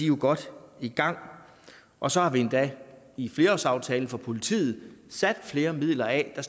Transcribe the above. jo godt i gang og så har vi endda i flerårsaftalen for politiet sat flere midler af der